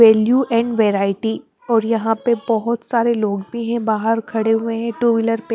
value and variety और यहां पे बहुत सारे लोग भी है बाहर खड़े हुए हैं टू व्हीलर --